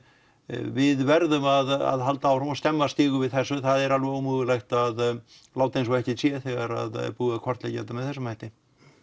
við verðum að halda áfram og stemma stigu við þessu það er alveg ómögulegt að láta eins og ekkert sé þegar það er búið að kortleggja þetta með þessum hætti